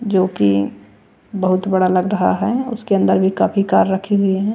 जोकी बहुत बड़ा लग रहा है उसके अंदर भी काफी कार रखी हुई है।